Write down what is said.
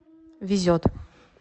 везет